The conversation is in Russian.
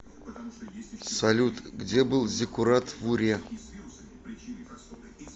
салют где был зиккурат в уре